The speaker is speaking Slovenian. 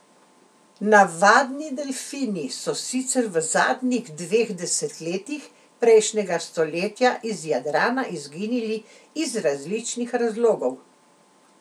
Navadni delfini so sicer v zadnjih dveh desetletjih prejšnjega stoletja iz Jadrana izginili iz različnih razlogov.